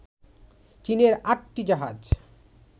চীনের আটটি জাহাজ